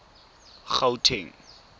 gauteng